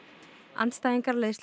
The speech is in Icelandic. andstæðingar